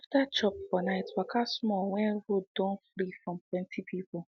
after chop for night waka small when road don free from plenty people